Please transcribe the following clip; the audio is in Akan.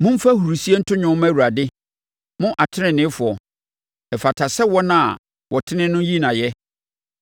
Momfa ahurisie nto dwom mma Awurade, mo teneneefoɔ, ɛfata sɛ wɔn a wɔtene no yi no ayɛ.